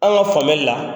An ka faamuyali la